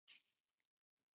Hvað er tíska?